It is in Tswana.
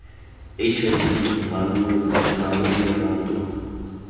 hiv mmalooo nna weeee lerato